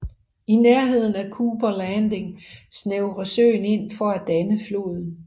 I nærheden af Cooper Landing snævrer søen ind for at danne floden